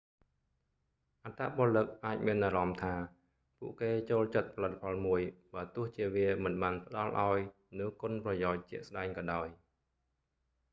អត្តពលិកអាចមានអារម្មណ៍ថា ពួកគេចូលចិត្តផលិតផលមួយ បើទោះជាវាមិនបានផ្តល់ឱ្យនូវគុណប្រយោជន៍ជាក់ស្តែងក៏ដោយ